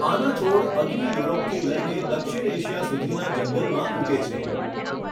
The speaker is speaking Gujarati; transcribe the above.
આના છોડ અગ્નિ યુરોપથી લઈને દક્ષિણ એશિયા સુધીનાં જંગલમાં ઊગે છે.